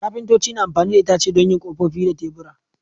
Kafintoci na amfani da itace don yin kofofi da tebura.